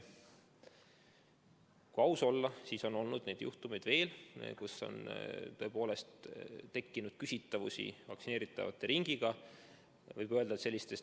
Kui aus olla, siis juhtumeid, kus on tõepoolest tekkinud küsitavusi vaktsineeritavate ringiga, on veel olnud.